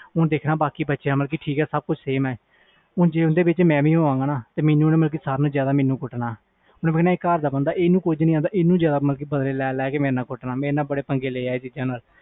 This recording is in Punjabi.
ਹੁਣ ਦੇਖਣ ਬਾਕੀ ਬੱਚਿਆਂ ਵਾਲ ਸਬ ਕੁਛ ਆ ਹੁਣ ਜੇ ਉਸਦੇ ਵਿਚ ਮੈਂ ਵੀ ਹੋ ਵ ਗਾ ਸਾਰਿਆਂ ਨਾਲੋਂ ਮੈਨੂੰ ਜਿਆਦਾ ਕੁੱਟਣਾ ਓਹਨੂੰ ਪਤਾ ਆਹ ਘਰ ਦਾ ਬੰਦਾ ਇਹਨੂੰ ਕੁਛ ਨਹੀਂ ਆਂਦਾ ਮੇਰੇ ਨਾਲ ਬੜੇ ਪੰਗੇ ਲੈ ਇਹਦਾ ਦੇ